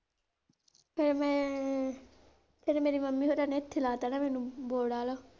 ਫਿਰ ਮੈਂ, ਫਿਰ ਮੇਰੀ mummy ਹੋਣਾ ਨੇ ਇਥੇ ਲੱਤ ਨਾ ਮੈਨੂੰ ਬੋੜ ਵੱਲ।